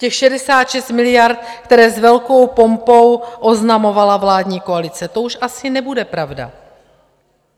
Těch 66 miliard, které s velkou pompou oznamovala vládní koalice, to už asi nebude pravda.